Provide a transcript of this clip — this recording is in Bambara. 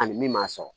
Ani min m'a sɔrɔ